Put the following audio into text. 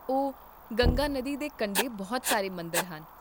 ਓ, ਗੰਗਾ ਨਦੀ ਦੇ ਕੰਢੇ ਬਹੁਤ ਸਾਰੇ ਮੰਦਰ ਹਨ